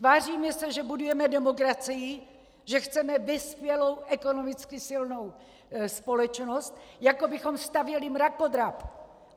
Tváříme se, že budujeme demokracii, že chceme vyspělou ekonomicky silnou společnost, jako bychom stavěli mrakodrap!